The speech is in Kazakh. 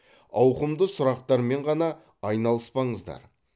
ауқымды сұрақтармен ғана айналыспаңыздар